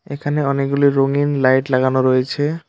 এখানে অনেকগুলি রঙিন লাইট লাগানো রয়েছে।